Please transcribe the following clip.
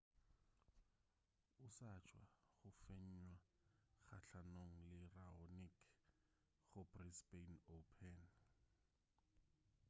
o sa tšwa go fenywa kgahlanong le raonic go brisbane open